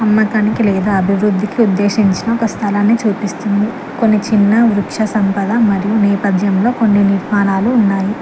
అమ్మకానికి లేద అభివృద్ధికి ఉద్దేశించిన ఒక స్థలాన్ని చూపిస్తుంది కొన్ని చిన్న వృక్ష సంపద మరియు నేపథ్యంలో కొన్ని నిర్మాణాలు ఉన్నాయి.